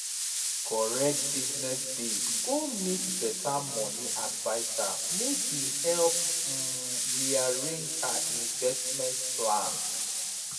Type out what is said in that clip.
correct business babe go meet better money adviser make e help um rearrange her investment plan